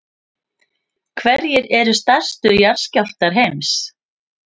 hverjir eru stærstu jarðskjálftar heims